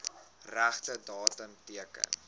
regte datum teken